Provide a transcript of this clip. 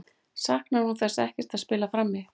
Saknar hún þess ekkert að spila frammi?